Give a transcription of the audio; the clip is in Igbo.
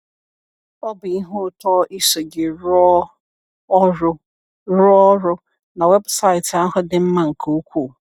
Ọ bụ ihe ụtọ iso gị rụọ ọrụ, rụọ ọrụ, na weebụsaịtị ahụ dị mma nke ukwuu.